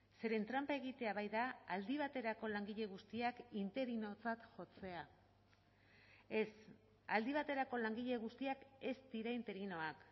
zeren tranpa egitea baita aldi baterako langile guztiak interinotzat jotzea ez aldi baterako langile guztiak ez dira interinoak